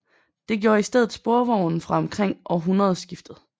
Det gjorde i stedet sporvognen fra omkring århundredeskiftet